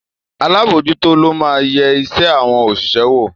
Alábòójútó lo máa ń yẹ iṣẹ́ àwọn òṣìṣẹ́ wò